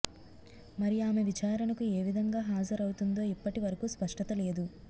మరి ఆమె విచారణకు ఏ విధంగా హజరవుతుందో ఇప్పటి వరకూ స్పష్టత లేదు